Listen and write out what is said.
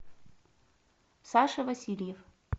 саша васильев